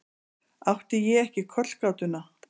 Átti ég ekki kollgátuna?